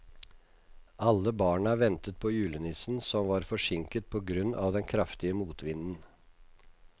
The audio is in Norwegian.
Alle barna ventet på julenissen, som var forsinket på grunn av den kraftige motvinden.